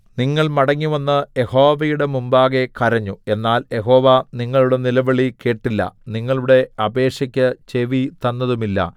നിങ്ങൾ മടങ്ങിവന്ന് യഹോവയുടെ മുമ്പാകെ കരഞ്ഞു എന്നാൽ യഹോവ നിങ്ങളുടെ നിലവിളി കേട്ടില്ല നിങ്ങളുടെ അപേക്ഷയ്ക്ക് ചെവി തന്നതുമില്ല